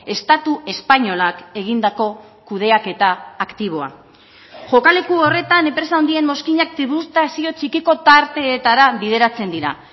estatu espainolak egindako kudeaketa aktiboa jokaleku horretan enpresa handien mozkinak tributazio txikiko tarteetara bideratzen dira